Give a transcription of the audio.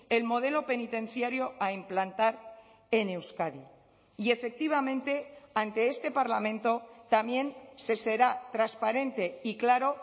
el modelo penitenciario a implantar en euskadi y efectivamente ante este parlamento también se será transparente y claro